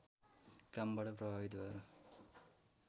कामबाट प्रभावित भएर